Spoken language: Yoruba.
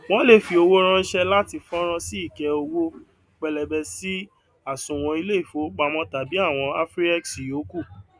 wọn lè fi owó ránṣẹ láti fọnrán sí ike owó pẹlẹbẹ sí àsùnwòn ilé ìfowópamọ tàbí ti àwọn afriex yòókù